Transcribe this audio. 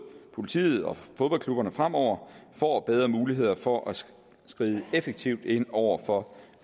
politiet og fodboldklubberne fremover får bedre muligheder for at skride effektivt ind over for